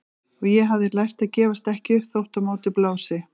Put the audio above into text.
Og ég hafði lært að gefast ekki upp þótt á móti blési.